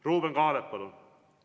Ruuben Kaalep, palun!